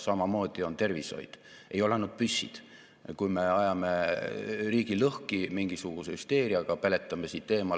Esiteks, tööstussektori konkurentsivõime tõstmiseks automatiseerimise, robootika ja tehisintellekti abil toetame ettevõtete investeeringuid digitaliseerimisse ja robotite kasutuselevõttu 53 miljoni euroga.